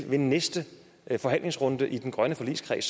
ved næste forhandlingsrunde i den grønne forligskreds